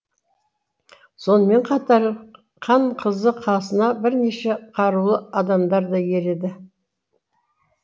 сонымен қатар хан қызы қасына бірнеше қарулы адамдар да ереді